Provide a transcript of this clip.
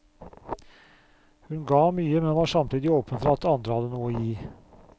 Hun ga mye, men var samtidig åpen for at andre hadde noe å gi.